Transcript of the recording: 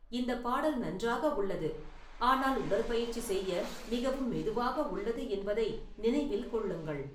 இந்த பாடல் நன்றாக உள்ளது ஆனால் உடற்பயிற்சி செய்ய மிகவும் மெதுவாக உள்ளது என்பதை நினைவில் கொள்ளுங்கள்